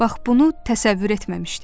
Bax bunu təsəvvür etməmişdim.